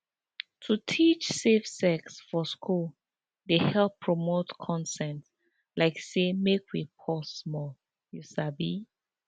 to teach safe sex for school dey help promote consent like say make we pause small you sabi